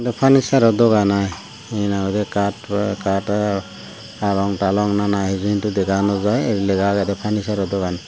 farnicharoh dogan aai hina hoidey kaat taatey palong talong nana hiju hintu dega nawjai ei lega agedeh farnicharoh dogan.